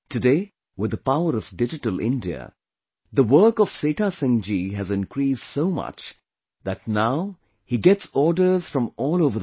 Today, with the power of Digital India, the work of Setha Singh ji has increased so much, that now he gets orders from all over the country